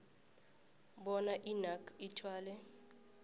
bona inac ithwale